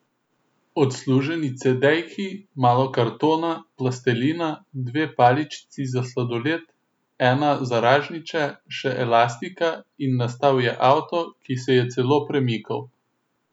Odsluženi cedejki, malo kartona, plastelina, dve paličici za sladoled, ena za ražnjiče, še elastika, in nastal je avto, ki se je celo premikal.